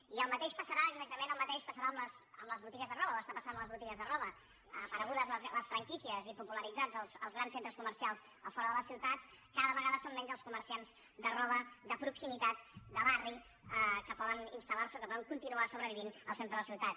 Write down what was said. i el mateix passarà exactament el mateix passarà amb les botigues de roba o està passant amb les botigues de roba aparegudes les franquícies i popularitzats els grans centres comercials a fora de les ciutats cada vegada són menys els comerciants de roba de proximitat de barri que poden instal·lar se o que poden continuar sobrevivint al centre de la ciutat